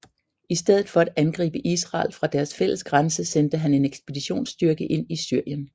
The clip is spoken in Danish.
I stedet for at angribe Israel fra deres fælles grænse sendte han en ekspeditionsstyrke ind i Syrien